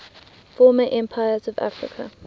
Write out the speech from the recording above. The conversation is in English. former empires of africa